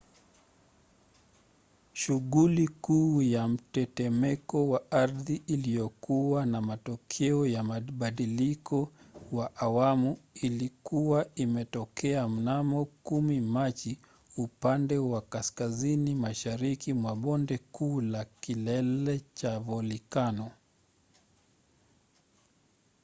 shughuli kuu ya mtetemeko wa ardhi iliyokuwa na matokeo ya mbadiliko wa awamu ilikuwa imetokea mnamo 10 machi upande wa kaskazini mashariki mwa bonde kuu la kilele cha volikano